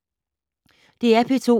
DR P2